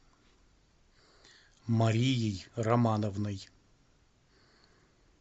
марией романовной